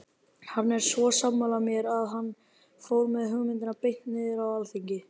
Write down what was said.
Hann var svo sammála mér að hann fór með hugmyndina beint niður á alþingi.